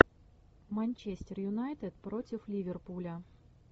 манчестер юнайтед против ливерпуля